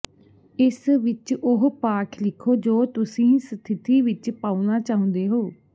ਇਸ ਵਿੱਚ ਉਹ ਪਾਠ ਲਿਖੋ ਜੋ ਤੁਸੀਂ ਸਥਿਤੀ ਵਿੱਚ ਪਾਉਣਾ ਚਾਹੁੰਦੇ ਹੋ